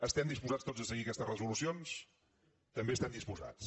estem disposats tots a seguir aquestes resolucions també hi estem disposats